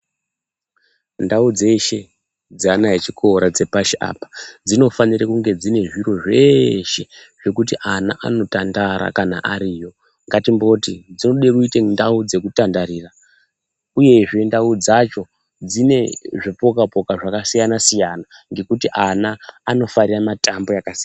Ndau dzeshe dzeana echikora dzepashi apa dzinofanire kunge dzine zviro zveshe zvekuti ana anotandara kana ariyo. Ngatimboti dzinode kuite ndau dzekutandarira uyezve ndau dzacho dzine zvipoka poka zvakasiyana siyana ngekuti ana anofarire mitambo yakasiyana.